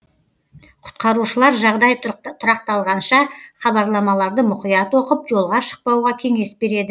құтқарушылар жағдай тұрақталғанша хабарламаларды мұқият оқып жолға шықпауға кеңес береді